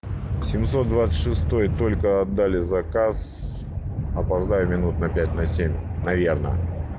семьсот двадцать шестой только отдали заказ опоздаю минут на пять на семь наверное